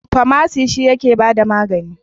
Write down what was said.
Famasi shi yake ba da magani.